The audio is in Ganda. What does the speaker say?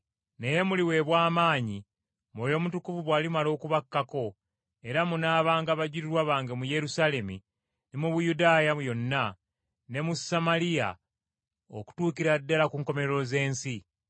Naye muliweebwa amaanyi, Mwoyo Mutukuvu bw’alimala okubakkako, era munaabanga bajulirwa bange mu Yerusaalemi, ne mu Buyudaaya yonna, ne mu Samaliya okutuukira ddala ku nkomerero z’ensi.”